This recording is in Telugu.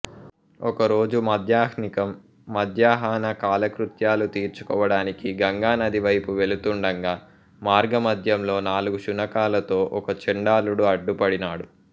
ఒకరోజు మాధ్యాహ్నికం మధ్యాహ్నకాలకృత్యాలు తీర్చుకోవడానికి గంగా నది వైపు వెళ్తుండగా మార్గమధ్యంలో నాలుగు శునకాలతో ఒక చండాలుడు అడ్డుపడినాడు